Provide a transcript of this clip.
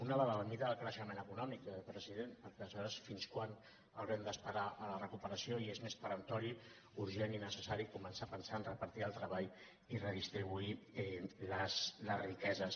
una la de la mida del creixement econòmic president perquè aleshores fins quan haurem d’esperar la recuperació i és més peremptori urgent i necessari començar a pensar a repartir el treball i a redistribuir les riqueses